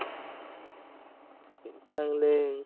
चांगलं अं